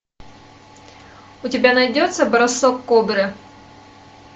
у тебя найдется бросок кобры